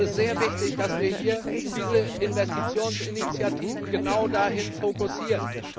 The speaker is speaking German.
Es ist sehr wichtig, dass wir hier diese Investitionsinitiativen genau dahin fokussieren.